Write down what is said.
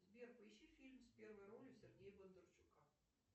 сбер поищи фильм с первой ролью сергея бондарчука